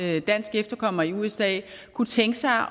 rig dansk efterkommer i usa kunne tænke sig